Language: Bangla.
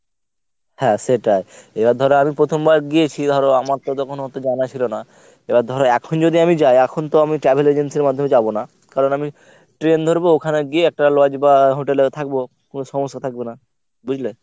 হ্যাঁ সেটাই এবার ধর আমি প্রথমবার গিয়েছি ধর আমার তো তখন অত জানা ছিল না। এবার ধর এখন যদি আমি যাই এখন তো আমি travel agencyর মাধ্যমে যাব না। কারণ আমি train ধরবো ওখানে গিয়ে একটা lodge বা hotel এ থাকবো। কোনো সমস্যা থাকবে না বুঝলে?